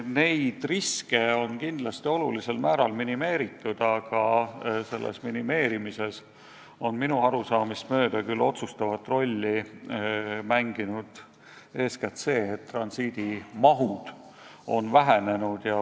Neid riske on kindlasti olulisel määral minimeeritud, aga selles minimeerimises on minu arusaamist mööda küll otsustavat rolli mänginud eeskätt see, et transiidimahud on vähenenud.